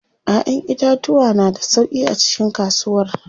Ƴaƴan itatuwa na da sauƙi a cikin kasuwar.